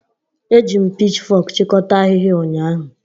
Eji m pichfok chịkọta ahịhịa ụnyahụ.